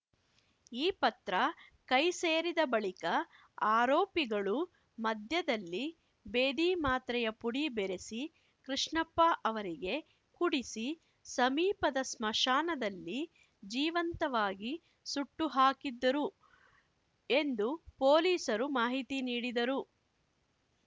ಈ ಪತ್ರ ಕೈ ಸೇರಿದ ಬಳಿಕ ಆರೋಪಿಗಳು ಮದ್ಯದಲ್ಲಿ ಭೇದಿ ಮಾತ್ರೆಯ ಪುಡಿ ಬೆರಸಿ ಕೃಷ್ಣಪ್ಪ ಅವರಿಗೆ ಕುಡಿಸಿ ಸಮೀಪದ ಸ್ಮಶಾನದಲ್ಲಿ ಜೀವಂತವಾಗಿ ಸುಟ್ಟು ಹಾಕಿದ್ದರು ಎಂದು ಪೊಲೀಸರು ಮಾಹಿತಿ ನೀಡಿದರು